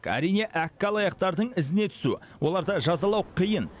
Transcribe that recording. әрине әккі алаяқтардың ізіне түсу оларды жазалау қиын